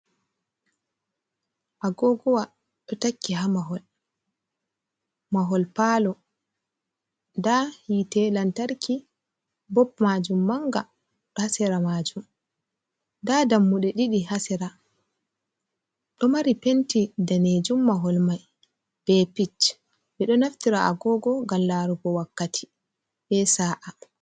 Agogowa ɗo takki ha mahol. Mahol palo, nda hite lantarki, bop maajum manga ɗo ha sera maajum. Nda dammuɗe ɗiɗi ha sera, ɗo mari penti daneejum mahol mai, be pic. Ɓe ɗo naftira agogo ngam larugo wakkati be sa’a.